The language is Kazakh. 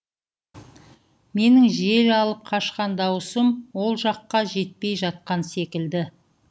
менің жел алып қашқан дауысым ол жаққа жетпей жатқан секілді